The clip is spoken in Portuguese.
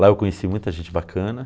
Lá eu conheci muita gente bacana.